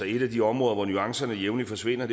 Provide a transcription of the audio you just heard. et af de områder hvor nuancerne jævnligt forsvinder